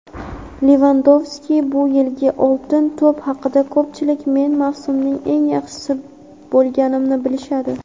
Levandovski bu yilgi "Oltin to‘p" haqida: "Ko‘pchilik men mavsumning eng yaxshisi bo‘lganimni bilishadi".